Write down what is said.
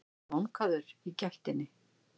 vankaður í gættinni.